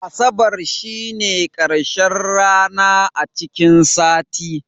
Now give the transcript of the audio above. Asabar shine karshen rana a cikin sati.